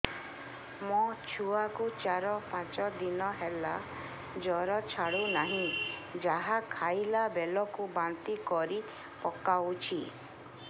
ମୋ ଛୁଆ କୁ ଚାର ପାଞ୍ଚ ଦିନ ହେଲା ଜର ଛାଡୁ ନାହିଁ ଯାହା ଖାଇଲା ବେଳକୁ ବାନ୍ତି କରି ପକଉଛି